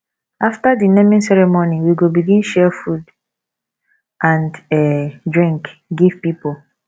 after di naming ceremony we go begin share food and um drink give pipo